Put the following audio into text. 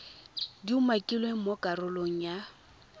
di umakilweng mo karolong ya